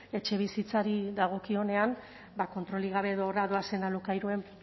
etxebizitzari dagokionean kontrolik gabe edo horra doazen alokairuen